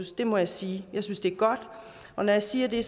det må jeg sige jeg synes det er godt når jeg siger det